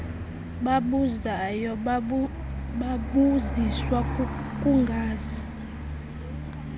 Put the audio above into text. babuzayo babuziswa kukungazi